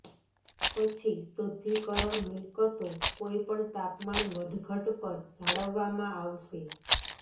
પછી શુદ્ધિકરણ મિલકતો કોઈપણ તાપમાન વધઘટ પર જાળવવામાં આવશે